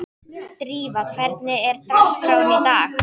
Drífa, hvernig er dagskráin í dag?